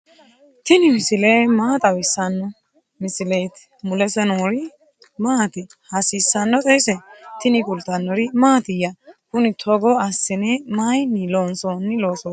tini maa xawissanno misileeti ? mulese noori maati ? hiissinannite ise ? tini kultannori mattiya? Kunni togo assinne mayiinni loonsoonni loosootti?